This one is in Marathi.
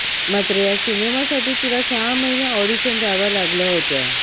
मात्र या सिनेमासाठी तिला सहा महिने ऑडिशन द्याव्या लागल्या होत्या